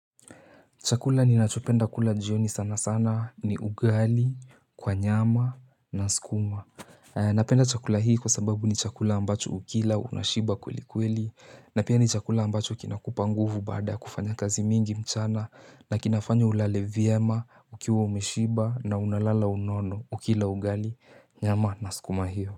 Chakula ni nachopenda kula jioni sana sana ni ugali kwa nyama na skuma. Napenda chakula hii kwa sababu ni chakula ambacho ukila unashiba kweli kweli na pia ni chakula ambacho kinakupa nguvu baada kufanya kazi mingi mchana na kinafanya ulale vima ukiwa umeshiba na unalala unono ukila ugali nyama na skuma hio.